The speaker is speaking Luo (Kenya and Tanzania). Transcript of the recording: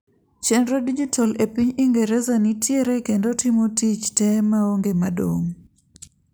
chenro dijital e piny ingereza nitiere kendo timo tich tee maonge madong'